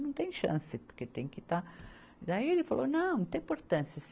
Não tem chance, porque tem que estar... Daí ele falou, não, não tem importância.